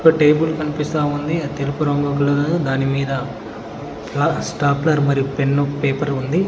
ఒక టేబుల్ కనిపిస్తా ఉంది అది తెలుపురంగు లో గల దానిమీద క్లాత్ స్టాప్లర్ మరియు పెన్ను పేపర్ ఉంది.